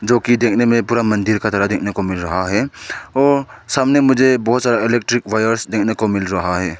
क्योंकि देखने में पूरा मंदिर का तरह देखने को मिल रहा है और सामने मुझे बहुत इलेक्ट्रिक वायर्स देखने को मिल रहा है।